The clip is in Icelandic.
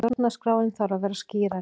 Stjórnarskráin þarf að vera skýrari